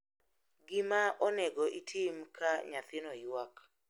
Gima onego itim ka nyathino ywak.